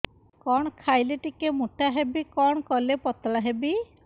କଣ ଖାଇଲେ ଟିକେ ମୁଟା ହେବି କଣ କଲେ ପତଳା ହେବି